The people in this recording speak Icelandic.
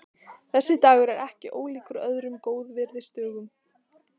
Þessi dagur er ekki ólíkur öðrum góðviðrisdögum.